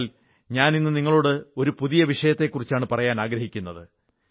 എന്നാൽ ഇന്നു ഞാൻ നിങ്ങളോട് ഒരു പുതിയ വിഷയത്തെക്കുറിച്ചാണ് പറയാനാഗ്രഹിക്കുന്നത്